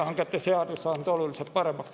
... riigihangete seadus saanud oluliselt paremaks.